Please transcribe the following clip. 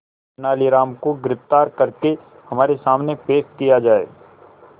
तेनालीराम को गिरफ्तार करके हमारे सामने पेश किया जाए